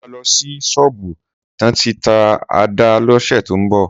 Sọ mà lọ sí sọbu tàn ti tà àdá lọsẹ tọ mbọ